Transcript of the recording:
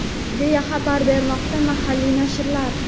deya xabar bermoqda mahalliy nashrlar.